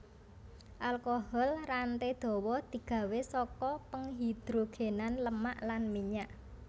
Alkohol rantai dawa di gawé saka penghidrogènan lemak lan minyak